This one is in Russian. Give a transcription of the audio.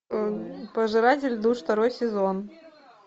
пожиратель душ второй сезон